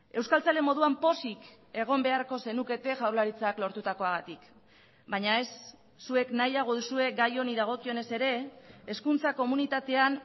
euskaltzale moduan pozik egon beharko zenukete jaurlaritzak lortutakoagatik baina ez zuek nahiago duzue gai honi dagokionez ere hezkuntza komunitatean